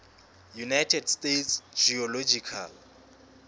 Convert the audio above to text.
united states geological